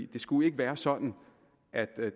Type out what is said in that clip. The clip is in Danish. det skulle ikke være sådan at